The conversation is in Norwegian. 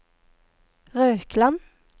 Røkland